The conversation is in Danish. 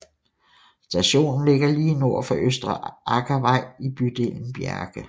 Stationen ligger lige nord for Østre Aker vei i bydelen Bjerke